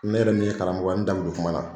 Ne yɛrɛ nin ye karamɔgɔ n da bi don kuma na.